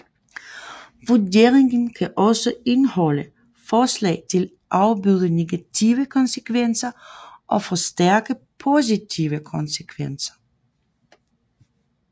Vurderingen kan også indeholde forslag til at afbøde negative konsekvenser og forstærke positive konsekvenser